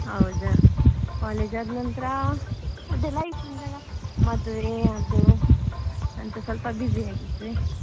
ಹೌದಾ college ಆದ್ ನಂತ್ರ ಅದೇ life ಉಂಟಲ್ಲಾ ಮದ್ವೆ ಅದು ಅಂತ ಸ್ವಲ್ಪ busy ಆಗಿದ್ದೆ.